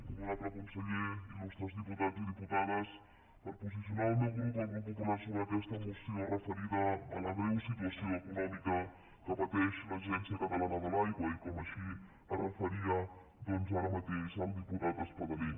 honorable conseller il·lustres diputats i diputades per posicionar el meu grup el grup popular sobre aquesta moció referida a la greu situació econòmica que pateix l’agència catalana de l’aigua i com així s’hi referia ara mateix el diputat espadaler